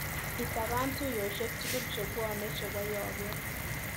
Itapan tuiyoshek tukul chebwoni chebo yoget.